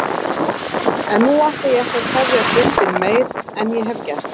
En nú ætla ég ekki að tefja fundinn meir en ég hef gert.